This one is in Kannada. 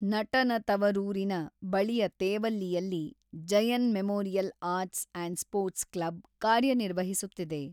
ನಟನ ತವರೂರಿನ ಬಳಿಯ ತೇವಲ್ಲಿಯಲ್ಲಿ Jayan memorial arts & sports club ಕಾರ್ಯನಿರ್ವಹಿಸುತ್ತಿದೆ.